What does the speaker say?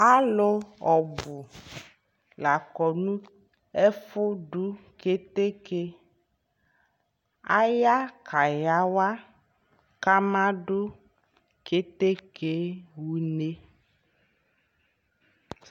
alʋ ɔbʋ lakɔ nʋ ɛƒʋ dʋ kɛtɛkɛ, aya kayawa ka ama dʋ kɛtɛkɛ ha ʋnɛ